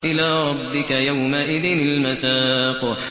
إِلَىٰ رَبِّكَ يَوْمَئِذٍ الْمَسَاقُ